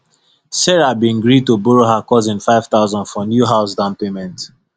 sarah been gree to borrow her cousin 5000 for new house down payment